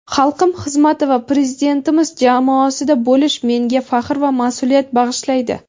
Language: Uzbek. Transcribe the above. xalqim xizmati va prezidentimiz jamoasida bo‘lish menga faxr va mas’uliyat bag‘ishlaydi.